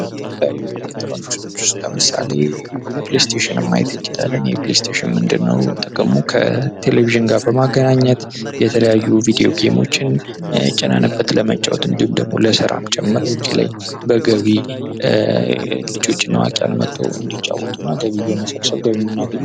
ከተለያዩ ኤሌክትሮኒክሶች ውስጥ ለምሳሌ ፕሌስቴሽን፦ ፕሌስቴሽን ምንድነው ጥቅሙ ከቴሌቪዥን ጋር በማገናኘት የተለያዩ ቪዲዮ ጌሞችን ጭነን ለመጫወት እንዲሁም ደግሞ ለስራም ጭምር መንገድ ላይ ልጆች እና አዋቂዎች እየመጡ እንዲጫወቱ ገቢ በመሰብሰብ ገቢ የምናገኝበት ነው።